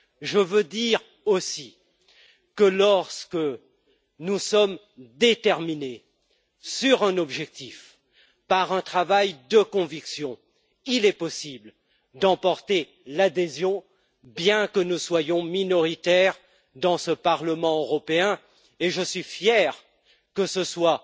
Je veux dire aussi que lorsque nous sommes déterminés sur un objectif par un travail de conviction, il est possible d'emporter l'adhésion, bien que nous soyons minoritaires dans ce Parlement européen, et je suis fier que ce soit